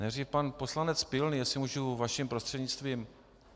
Nejdřív pan poslanec Pilný, jestli můžu vaším prostřednictvím.